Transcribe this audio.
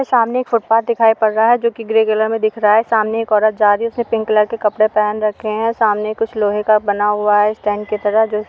सामने एक फुटपाथ दिखाई पड़ रहा है जो ग्रे कलर में दिख रहा है। सामने एक औरत जा रही है उसने पिंक कलर के कपड़े पहन रखे हैं सामने कुछ लोहे का बना हुआ है स्टैंड की तरह जो --